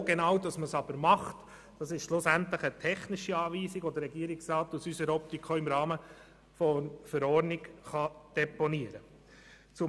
Wo genau diese aber durchgeführt wird, ist letztendlich eine technische Anweisung, die der Regierungsrat aus unserer Optik auch im Rahmen der Verordnung deponieren kann.